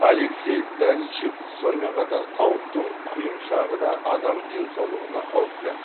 алексей даничев сонымен қатар тауықтың құйымшағы да адам денсаулығына қауіпті